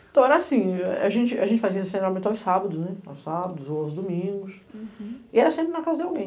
Então, era assim, a gente fazia ensinamento aos sábados, aos sábados ou aos domingos, e era sempre na casa de alguém.